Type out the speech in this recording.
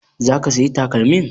Za ka sayi takalmin?